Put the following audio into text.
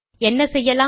என்ன செய்யலாம்